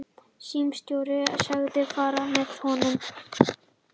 Símstjórinn sagðist fara með honum.